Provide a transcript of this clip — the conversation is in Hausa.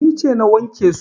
Ni ce na wanke su.